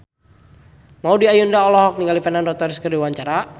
Maudy Ayunda olohok ningali Fernando Torres keur diwawancara